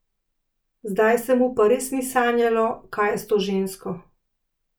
Zdaj se mu pa res ni sanjalo, kaj je s to žensko.